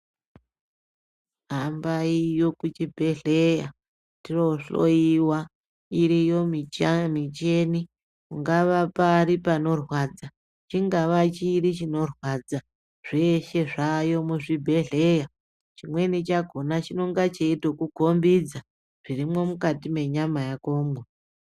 Hamabiyo kuchibhehleya tinohloyiwa iriyo michini ungava pari panorwadza, chingava chiri chinorwadza zveshe zvaayo muzvibhehleya. Chimweni chakona chinonga cheitokukombidza, zvirimwo mukati mwenyama yakomwo.